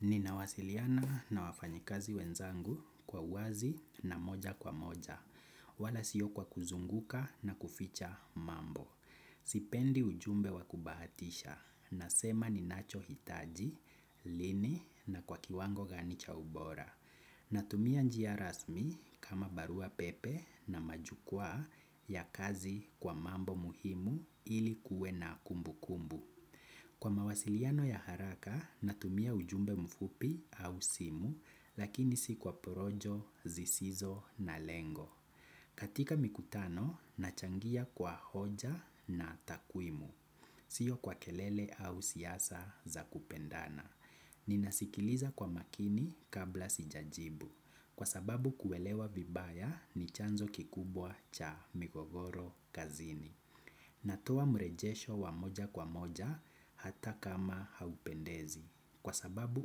Ninawasiliana na wafanyikazi wenzangu kwa uwazi na moja kwa moja, wala siyo kwa kuzunguka na kuficha mambo. Sipendi ujumbe wa kubahatisha, nasema ninachohitaji, lini na kwa kiwango gani cha ubora. Natumia njia rasmi kama barua pepe na majukwaa ya kazi kwa mambo muhimu ili kuwe na kumbukumbu. Kwa mawasiliano ya haraka, natumia ujumbe mfupi au simu, lakini si kwa porojo, zisizo na lengo. Katika mikutano, nachangia kwa hoja na takwimu, siyo kwa kelele au siyasa za kupendana. Ninasikiliza kwa makini kabla sijajibu, kwa sababu kuelewa vibaya ni chanzo kikubwa cha migogoro kazini. Natoa mrejesho wa moja kwa moja hata kama haupendezi kwa sababu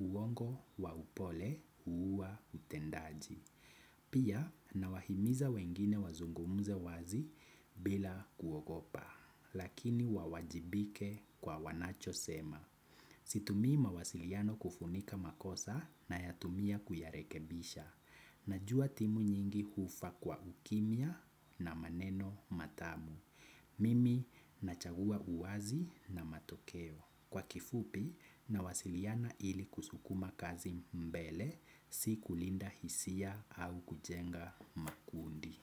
uongo wa upole huuwa utendaji. Pia nawahimiza wengine wazungumuze wazi bila kuogopa lakini wawajibike kwa wanachosema. Situmii mawasiliano kufunika makosa nayatumia kuyarekebisha. Najua timu nyingi hufa kwa ukimya na maneno matamu. Mimi nachagua uwazi na matokeo kwa kifupi nawasiliana ili kusukuma kazi mbele si kulinda hisia au kujenga makundi.